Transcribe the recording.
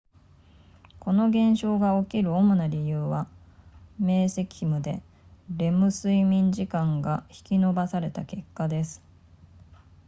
この現象が起きる主な理由は明晰夢でレム睡眠時間が引き延ばされた結果です